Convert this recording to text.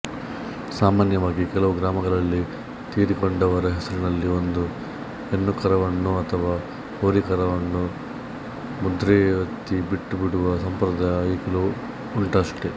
ಸಾಮಾನ್ಯವಾಗಿ ಕೆಲವು ಗ್ರಾಮಗಳಲ್ಲಿ ತೀರಿಕೊಂಡವರ ಹೆಸರಿನಲ್ಲಿ ಒಂದು ಹೆಣ್ಣುಕರುವನ್ನೋ ಅಥವಾ ಹೋರಿಕರುವನ್ನೋ ಮುದ್ರೆಯೊತ್ತಿ ಬಿಟ್ಟುಬಿಡುವ ಸಂಪ್ರದಾಯ ಈಗಲೂ ಉಂಟಷ್ಟೆ